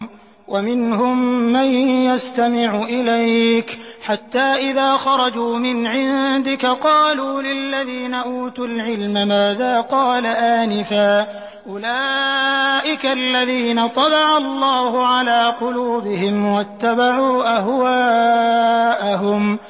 وَمِنْهُم مَّن يَسْتَمِعُ إِلَيْكَ حَتَّىٰ إِذَا خَرَجُوا مِنْ عِندِكَ قَالُوا لِلَّذِينَ أُوتُوا الْعِلْمَ مَاذَا قَالَ آنِفًا ۚ أُولَٰئِكَ الَّذِينَ طَبَعَ اللَّهُ عَلَىٰ قُلُوبِهِمْ وَاتَّبَعُوا أَهْوَاءَهُمْ